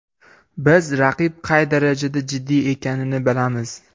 Biz raqib qay darajada jiddiy ekanini bilamiz.